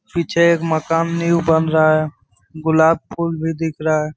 पीछे एक माकन न्यू बन रहा है गुलाब फूल भी दिख रहा है।